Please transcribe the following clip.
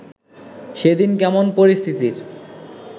সেদিন কেমন পরিস্থিতির